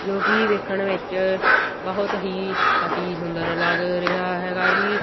ਜੋਕੀ ਵੇਖਣ ਵਿੱਚ ਬਹੁਤ ਹੀ ਅਤੀ ਸੁੰਦਰ ਲੱਗ ਰਿਹਾ ਹੈਗਾ ਜੀ।